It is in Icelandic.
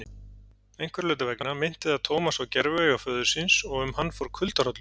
Einhverra hluta vegna minnti það Thomas á gerviauga föður síns og um hann fór kuldahrollur.